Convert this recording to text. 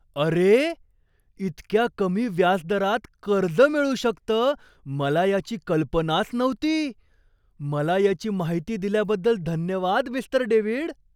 अरे! इतक्या कमी व्याजदरात कर्ज मिळू शकतं मला याची कल्पनाच नव्हती. मला याची माहिती दिल्याबद्दल धन्यवाद, मि. डेव्हिड.